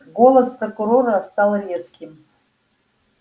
голос прокурора стал резким